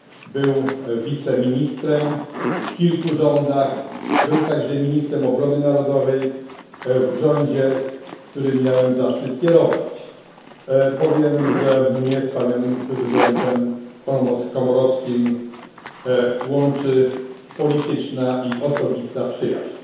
Był wiceministrem w kilku rządach, był także ministrem Obrony Narodowej w rządzie, którym miałem zaszczyt kierować. Dodam też, że mnie z prezydentem Komorowskim łączy polityczna i osobista przyjaźń.